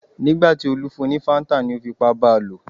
Nígbà tí Olú fún un ní Fanta tán ni ó fipá ba lò.